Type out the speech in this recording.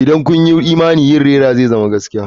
Idan kun yi imani yin rera zai zama gaskiya.